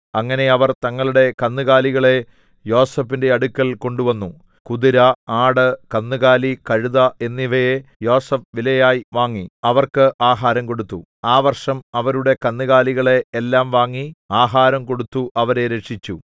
അങ്ങനെ അവർ തങ്ങളുടെ കന്നുകാലികളെ യോസേഫിന്റെ അടുക്കൽ കൊണ്ടുവന്നു കുതിര ആട് കന്നുകാലി കഴുത എന്നിവയെ യോസേഫ് വിലയായി വാങ്ങി അവർക്ക് ആഹാരം കൊടുത്തു ആ വർഷം അവരുടെ കന്നുകാലികളെ എല്ലാം വാങ്ങി ആഹാരം കൊടുത്തു അവരെ രക്ഷിച്ചു